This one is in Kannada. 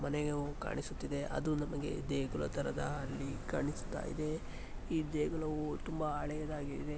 ಮನೆಯು ಕಾಣಿಸುತ್ತಿದೆ ಅದು ನಮಗೆ ದೇಗುಲ ತರದ ಅಲ್ಲಿ ಕಾಣಿಸ್ತಾ ಇದೆ. ಈ ದೇಗುಲವು ತುಂಬಾ ಹಳೆಯದಾಗಿದೆ.